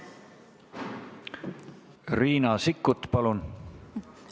Riina Sikkut, palun!